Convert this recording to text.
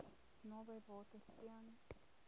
naby water ten